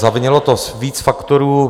Zavinilo to víc faktorů.